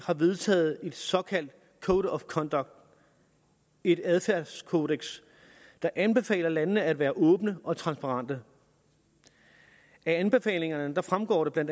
har vedtaget et såkaldt code of conduct et adfærdskodeks der anbefaler landene at være åbne og transparente af anbefalingerne fremgår det bla